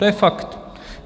To je fakt.